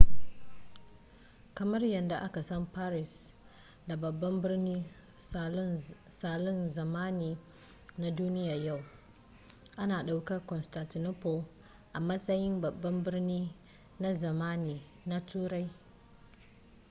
kamar yadda aka san paris da babban birnin salon zamani na duniyar yau ana ɗaukar constantinople a matsayin babban birni na zamani na turai